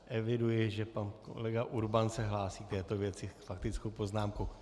Eviduji, že pan kolega Urban se hlásí k této věci faktickou poznámkou.